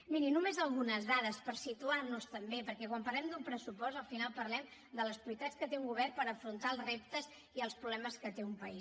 miri només algunes dades per situar nos també perquè quan parlem d’un pressupost al final parlem de les prioritats que té un govern per afrontar els reptes i els problemes que té un país